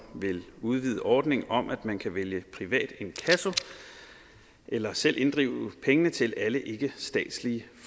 vil udvide ordningen om at man kan vælge privat inkasso eller selv inddrive pengene til alle ikkestatslige